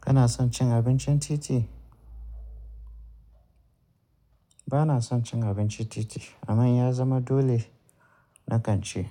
Kana son cin abincin titi? Bana son cin abincin titi amma ya zama dole na kan ci.